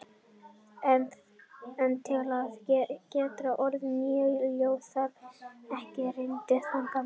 En til að geta ort nýja ljóðið þarf ég að rýna í það gamla.